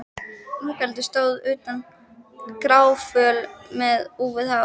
Ingveldur stóð úti gráföl með úfið hár.